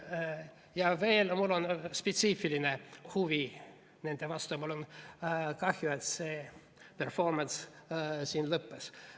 Ja veel, mul on spetsiifiline huvi nende vastu ja mul on kahju, et see performance siin lõppes.